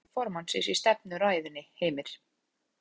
Hver voru nú megin skilaboð formannsins í stefnuræðunni Heimir?